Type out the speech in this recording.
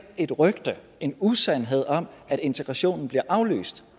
et rygte en usandhed om at integrationen bliver aflyst